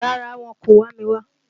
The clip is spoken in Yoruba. Rárá, wọn kò wá mi wá.